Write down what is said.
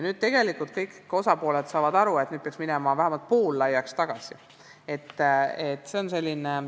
Tegelikult saavad kõik osapooled aru, et peaks tegema need uuesti vähemalt poollaiaks.